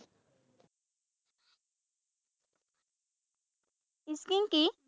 Skiing কি?